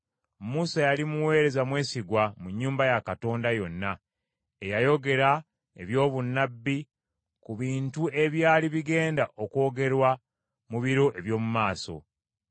Musa yali muweereza mwesigwa mu nnyumba ya Katonda yonna, eyayogera eby’obunnabbi ku bintu ebyali bigenda okwogerwa mu biro eby’omu maaso.